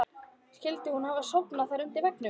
Skyldi hún hafa sofnað þarna undir veggnum?